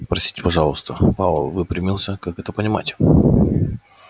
простите пожалуйста пауэлл выпрямился как это понимать